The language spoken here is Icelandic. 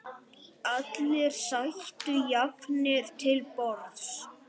Allir sætu jafnir til borðs.